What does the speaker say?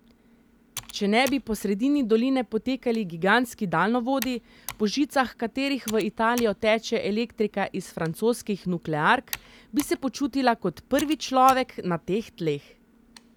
Če ne bi po sredini doline potekali gigantski daljnovodi, po žicah katerih v Italijo teče elektrika iz francoskih nukleark, bi se počutila kot prvi človek na teh tleh.